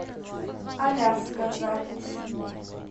аляска запись